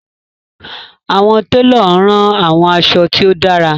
Awọn telo ran awọn aṣọ ti o dara